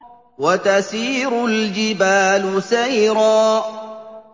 وَتَسِيرُ الْجِبَالُ سَيْرًا